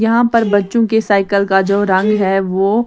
यहाँ पर बच्चों के साइकिल का जो रंग है वो --